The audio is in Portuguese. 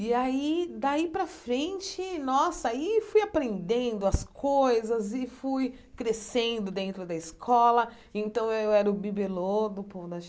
E aí, daí para frente, nossa, aí fui aprendendo as coisas e fui crescendo dentro da escola, então eu era o bibelô do povo da